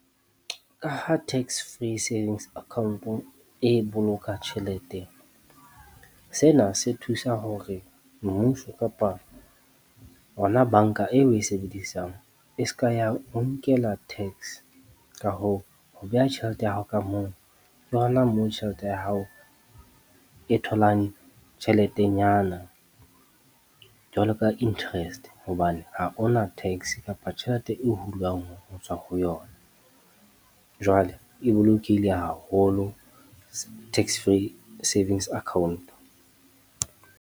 Ka ha tax free savings account e boloka tjhelete, sena se thusa hore mmuso kapa ona banka eo o e sebedisang. E ska ya o nkela tax. Ka hoo, ho beha tjhelete ya hao ka moo ke hona moo tjhelete ya hao e tholang tjheletenyana, jwalo ka interest. Hobane ha hona tax kapa tjhelete e hulwang ho tswa ho yona, jwale e bolokehile haholo tax free savings account.